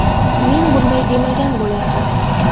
Men bunday demagan bo‘lardim.